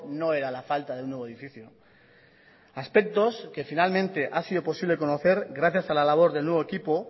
no era la falta de un nuevo edificio aspectos que finalmente ha sido posible conocer gracias a la labor del nuevo equipo